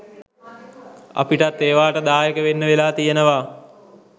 අපිටත් ඒවාට දායක වෙන්න වෙලා තියෙනවා.